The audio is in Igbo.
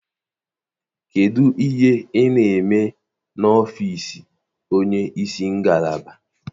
Kedụ ihe ị na-eme n'ọfiisi onye isi ngalaba?